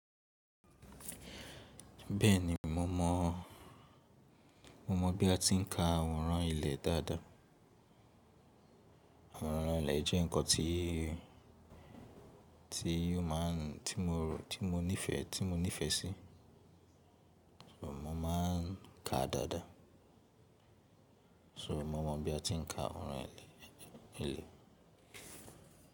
Bẹ́ẹ̀ni mo mọ, mo mọ bí a ti ń ka àwòrán ilẹ̀ dáadáa. Àwòrán ilẹ̀ jẹ́ ǹkan tí, tí ó máa ń, tí mo rò, tí mo nífẹ̀ẹ́, tí mo nífẹ̀ẹ́ sí. Mo má a ń ka dáadáa. So mo mọ bí a ti ń ka àwòrán ilẹ̀, ilẹ̀.